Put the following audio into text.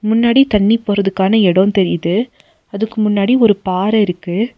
முன்னாடி தண்ணி போறதுக்கான எடோ தெரியிது அதுக்கு முன்னாடி ஒரு பாற இருக்கு.